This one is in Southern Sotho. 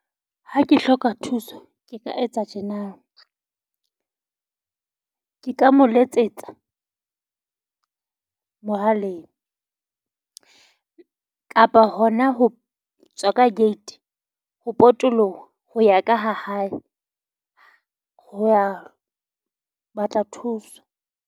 Ha ke hloka thuso ke ka etsa tjena, ke ka mo letsetsa mohaleng kapa hona ho tswa ka gate ho potoloha ho ya ka ha hae ho ya batla thuso.